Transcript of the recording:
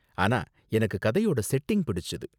ஆனா எனக்கு கதையோட செட்டிங் பிடிச்சுது.